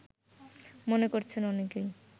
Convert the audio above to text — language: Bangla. মনে করছেন অনেকেই